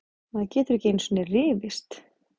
Maður getur ekki einusinni rifist!